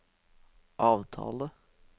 avtale